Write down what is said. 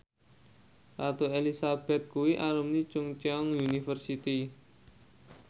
Ratu Elizabeth kuwi alumni Chungceong University